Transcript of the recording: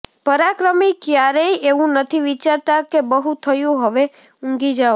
પરાક્રમી ક્યારેય એવું નથી વિચારતા કે બહુ થયું હવે ઊંઘી જાઓ